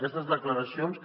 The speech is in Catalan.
aquestes declaracions